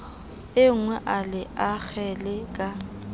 enngwe a le akgele ka